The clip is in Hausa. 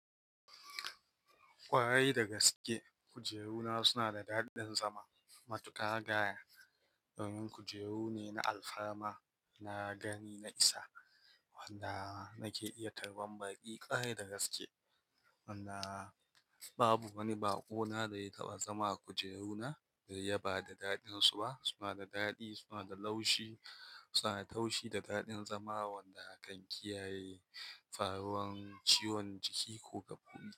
Ƙwarai da gaske kujeru na suna da daɗin zama. Matuƙa guy, wannan kujeru ne na alfarma na gani na isa wanda nake iya tarban baki. Ƙwarai da gaske wannan babu wani baƙo na da ya taɓa zama a kujeru na da ya bada daɗin su ba. Suna da daɗi, suna da laushi, suna da taushi da daɗin zama wanda kan kiyaye faruwan ciwon jiki kuka fi yi.